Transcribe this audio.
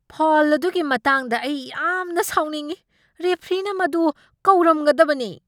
Foul ꯑꯗꯨꯒꯤ ꯃꯇꯥꯡꯗ ꯑꯩ ꯌꯥꯝꯅ ꯁꯥꯎꯅꯤꯡꯢ! ꯔꯦꯐ꯭ꯔꯤꯅ ꯃꯗꯨ ꯀꯧꯔꯝꯒꯗꯕꯅꯤ꯫